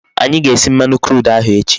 Anyi ga-esi mmanu crude ahu echi